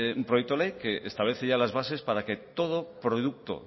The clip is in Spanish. un proyecto de ley que establece ya las bases para que todo producto